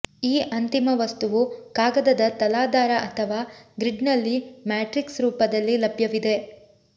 ಈ ಅಂತಿಮ ವಸ್ತುವು ಕಾಗದದ ತಲಾಧಾರ ಅಥವಾ ಗ್ರಿಡ್ನಲ್ಲಿ ಮ್ಯಾಟ್ರಿಕ್ಸ್ ರೂಪದಲ್ಲಿ ಲಭ್ಯವಿದೆ